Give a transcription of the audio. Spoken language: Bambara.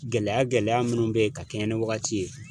Gɛlɛya gɛlɛya munnu be yen ka kɛɲɛ ni wagati ye.